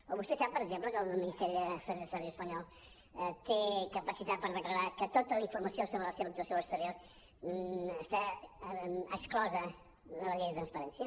o vostè sap per exemple que el ministeri d’afers exteriors espanyols té capacitat per declarar que tota la informació sobre la seva actuació a l’exterior està exclosa de la llei de transparència